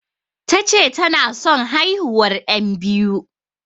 Tace tana son haihuwar yan biyu